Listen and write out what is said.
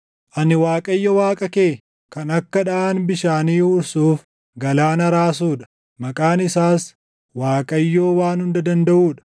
Ani Waaqayyo Waaqa kee, kan akka dhaʼaan bishaanii huursuuf galaana raasuu dha; maqaan isaas Waaqayyoo Waan Hunda Dandaʼuu dha.